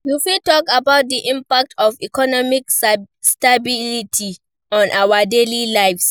You fit talk about di impact of economic stability on our daily lives.